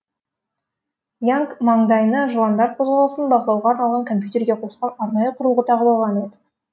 янг маңдайына жыландар қозғалысын бақылауға арналған компьютерге қосылған арнайы құрылғы тағып алған еді